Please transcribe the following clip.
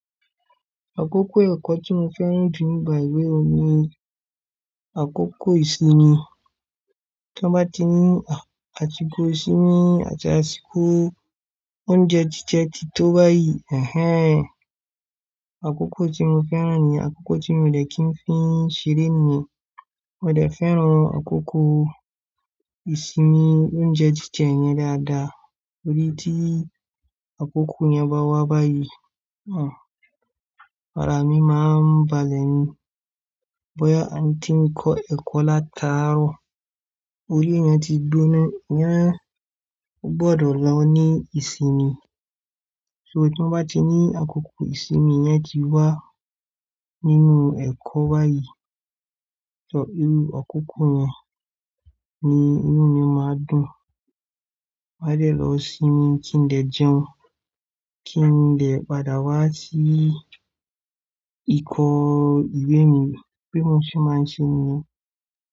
Àkókò ẹ̀kọ́ tí mo fẹ́ràn jù nígba ewé mi ni àkókò ìsinmi. Tí wọ́n bá ti ní àsiko ìsinmi àti àsìkò oúnjẹ jíjẹ tí tó báyìí, ehen, àkókò tí mo fẹ́ràn niyen, àkókò tí mi o dẹ̀ kí ń fii ṣeré niyen, mo dẹ̀ fẹ́ràn àkókò ìsinmi, oúnjẹ jíjẹ yẹn dáadáa. Torií tí àkókò yẹn bá wà báyìí, hm, ara mi máa ń balè ni. Boyá a tí ń kọ ẹkọ l'átàárọ̀, orí eeyan ti gbonà. O gbọdọ̀ lọ ní ìsinmi. So tí wọ́n bá ti ní àkókò ìsinmi yẹn ti wà nínú ẹ̀kọ́ báyìí, tọ́, irù àkókò yẹn ni inú mi máa dùn. Màá dẹ̀ lọ̀ sínmi kí ń dẹ̀ jẹun, kí ń dẹ̀ padà wá sí ikọ̀ ìwé mi bí mo ṣe máa ń ṣe niyen.